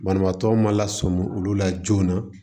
Banabaatɔ ma lasɔmɔ olu la joona